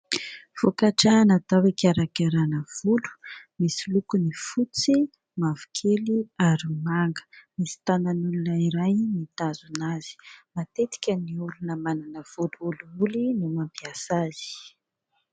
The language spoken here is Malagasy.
Vokatra natao hikarakarana volo misy lokony fotsy, mavokely, ary manga, misy tanan'olona iray mitazona azy. Matetika ny olona manana volo olioly no mampiasa azy.